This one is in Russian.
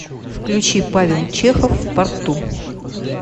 включи павел чехов в порту